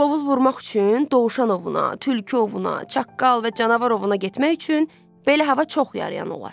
Qırqovul vurmaq üçün, dovşanovuna, tülküovuna, çaqqal və canavarovuna getmək üçün belə hava çox yarayan olar.